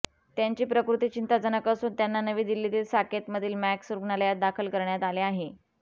त्यांची प्रकृती चिंताजनक असून त्यांना नवी दिल्लीतील साकेतमधील मॅक्स रुग्णालयात दाखल करण्यात आले आहे